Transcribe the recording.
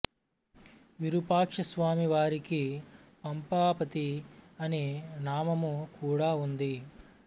విరుపాక్ష స్వామి వారికి పంపాపతి అని నామము కూడా ఉంది